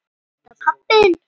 Er þetta pabbi þinn?